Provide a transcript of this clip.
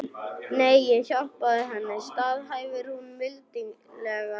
Nei, ég hjálpaði henni, staðhæfir hún mildilega.